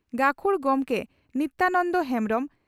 ᱜᱟᱹᱠᱷᱩᱲ ᱜᱚᱢᱠᱮ ᱱᱤᱛᱭᱟᱱᱚᱱᱫᱚ ᱦᱮᱢᱵᱽᱨᱚᱢ